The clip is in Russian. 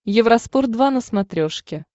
евроспорт два на смотрешке